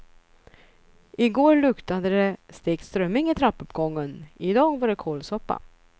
I går luktade det stekt strömming i trappuppgången, i dag var det kålsoppa.